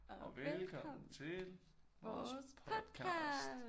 Og velkommen til vores podcast